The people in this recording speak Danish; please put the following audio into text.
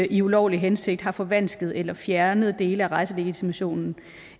i ulovlig hensigt har forvansket eller fjernet dele af rejselegitimationen